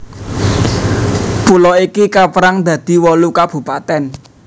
Pulo iki kapérang dadi wolu kabupatèn